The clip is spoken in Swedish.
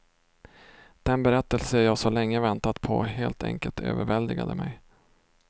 Den berättelse jag så länge väntat på helt enkelt överväldigade mig.